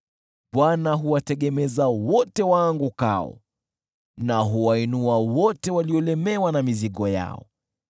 Bwana huwategemeza wote waangukao, na huwainua wote waliolemewa na mizigo yao.